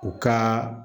U ka